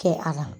Kɛ a la